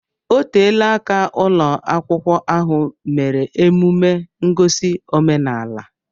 Oteela aka ụlọ akwụkwọ ahụ mere emume ngosi omenaala